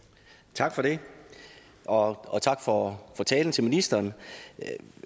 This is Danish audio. tak for det og og tak for talen til ministeren